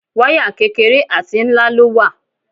Wáyà kékeré àti ńlá ló wà.